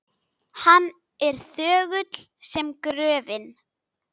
Hann er þögull sem gröfin.